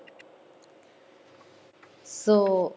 so,